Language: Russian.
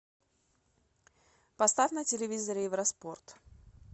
поставь на телевизоре евроспорт